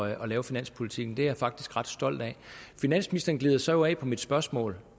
at lave finanspolitikken det er jeg faktisk ret stolt af finansministeren glider så af på mit spørgsmål